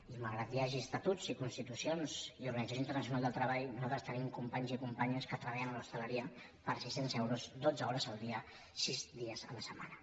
i malgrat que hi hagi estatuts i constitucions i organització internacional del treball nosaltres tenim companys i companyes que treballen a l’hostaleria per sis cents euros dotze hores al dia sis dies la setmana